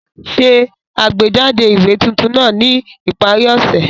Ṣe àgbéjáde ìwé tuntun náà ní ìparí ọ̀sẹ̀!